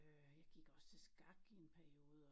Øh jeg gik også til skak i en periode og